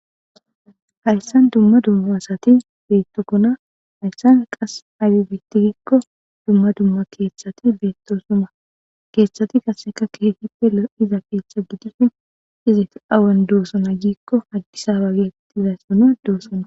Hayssan dumma dumma asathi beeththokkona,taassi qa aybi beeththii giikko dummadumma keeththati beeththoosona; keeththati qassi keehippe lo7iza keeththa gidishin awad doosona giikko addisaaban doosona.